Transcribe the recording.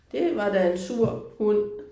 Det var da en sur hund